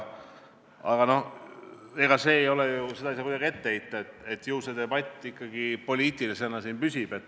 Aga ega seda ei saa kuidagi ette heita, et see debatt meil siin ikkagi poliitilisena püsib.